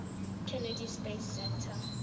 kennedy space center